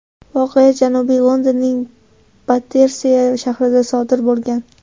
Voqea Janubiy Londonning Batterseya shahrida sodir bo‘lgan.